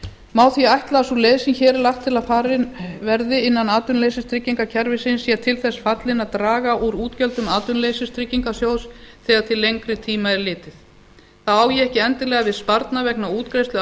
má því ætla að sú leið sem hér er lagt til að farin verði innan atvinnuleysistryggingakerfisins sé til þess fallin að draga úr útgjöldum atvinnuleysistryggingasjóðs þegar til lengri tíma er litið þá á ég ekki endilega við sparnað vegna útgreiðslu